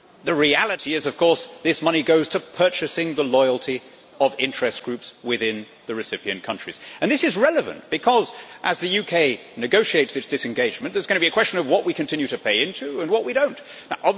The reality is, of course, this money goes to purchasing the loyalty of interest groups within the recipient countries, and this is relevant because as the UK negotiates its disengagement there is going to be a question of what we continue to pay into and what we do not.